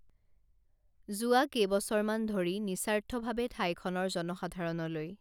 যোৱা কেইবছৰমান ধৰি নিস্বাৰ্থভাৱে ঠাইখনৰ জনসাধাৰণলৈ